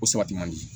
Ko sabati man di